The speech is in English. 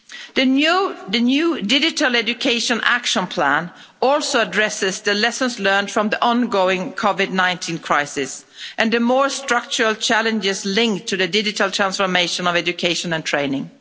The new Digital Education Action Plan also addresses the lessons learned from the ongoing COVID-19 crisis and the more structural challenges linked to the digital transformation of education and training.